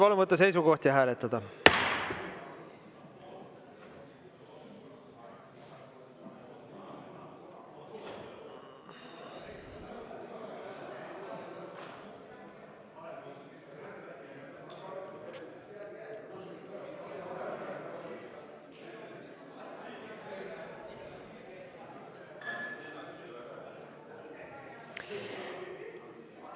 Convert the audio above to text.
Palun võtta seisukoht ja hääletada!